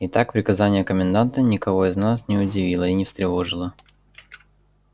и так приказание коменданта никого из нас не удивило и не встревожило